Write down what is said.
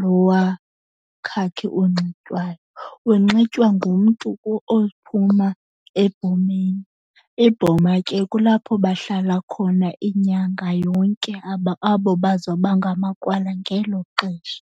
lowa khakhi unxitywayo. Unxitywa ngumntu ophuma ebhomeni, ibhoma ke kulapho bahlala khona inyanga yonke abo bazoba ngamakrwala ngelo xesha.